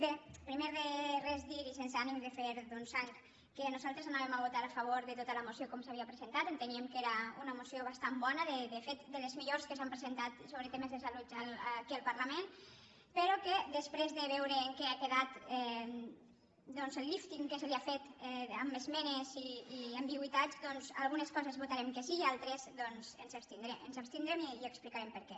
bé primer de res dir i sense ànim de fer sang que nosaltres anàvem a votar a favor de tota la moció com s’havia presentat enteníem que era una moció bastant bona de fet de les millors que s’han presentat sobre temes de salut aquí al parlament però que després de veure en què ha quedat doncs el lífting que se li ha fet amb esmenes i ambigüitats a algunes coses votarem que sí i en altres ens abstindrem i explicarem per què